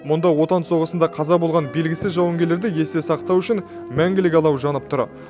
мұнда отан соғысында қаза болған белгісіз жауынгерлерді есте сақтау үшін мәңгілік алау жанып тұр